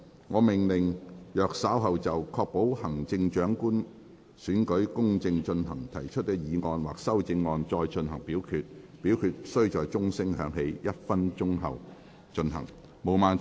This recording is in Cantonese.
我命令若稍後就"確保行政長官選舉公正進行"所提出的議案或修正案再進行點名表決，表決須在鐘聲響起1分鐘後進行。